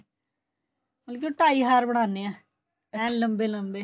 ਮਤਲਬ ਕੀ ਉਹ ਢਾਈ ਹਾਰ ਬਣਾਨੇ ਆ ਏਨ ਲੰਬੇ ਲੰਬੇ